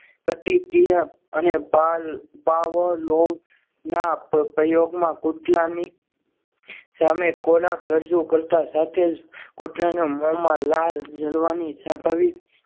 પ્રતિક્રિયા અને બાળ બાવલો ના પ્રયોગમાં કૂતરાની સામે ખોરાક રજૂ કરતા સાથે જ કૂતરાને મોંમાં લાળ જલવાની સ્વાભાવિક